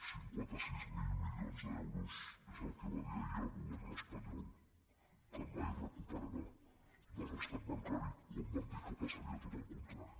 cinquanta sis mil milions d’euros és el que va dir ahir el govern espanyol que mai re·cuperarà del rescat bancari quan van dir que passaria tot el contrari